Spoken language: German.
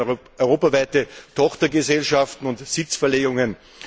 Ich denke hier an europaweite Tochtergesellschaften und Sitzverlegungen.